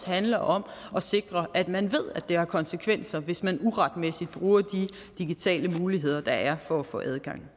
handler om at sikre at man ved at det har konsekvenser hvis man uretmæssigt bruger de digitale muligheder der er for at få adgang